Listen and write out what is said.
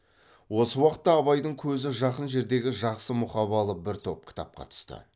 осы уақытта абайдың көзі жақын жердегі жақсы мұқабалы бір топ кітапқа түсті